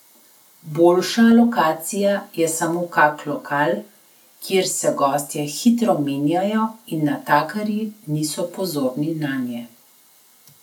Boljša lokacija je samo kak lokal, kjer se gostje hitro menjajo in natakarji niso pozorni nanje.